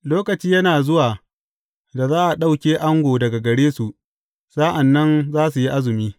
Lokaci yana zuwa da za a ɗauke ango daga gare su, sa’an nan za su yi azumi.